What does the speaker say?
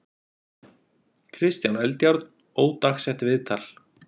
Kristján Eldjárn, ódagsett viðtal.